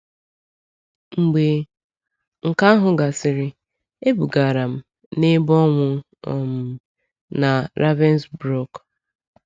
Mgbe nke ahụ gasịrị, ebugara m na ebe ọnwụ um na Ravensbrück.